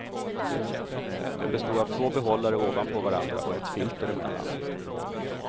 Den bestod av två behållare ovanpå varandra och ett filter emellan.